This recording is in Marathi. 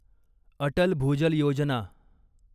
अटल भूजल योजना